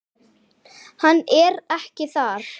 Hann er ekki þar.